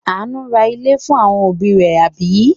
Àánú ra ilé fún àwọn òbí rẹ̀, àbí?